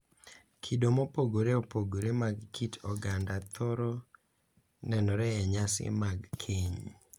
Kido mopogore opogore mag kit oganda thoro nenore e nyasi mag keny,